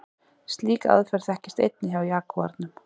Slík aðferð þekkist einnig hjá jagúarnum.